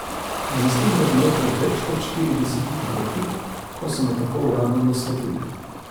Mislim, da je bilo pred več kot štiridesetimi leti, ko so me tako uradno naslovili.